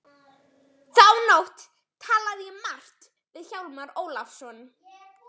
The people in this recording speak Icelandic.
Þá nótt talaði ég margt við Hjálmar Ólafsson.